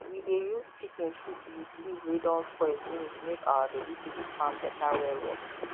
we dey use chicken shit with leaf wey don spoil finish make our vegetable farm better well well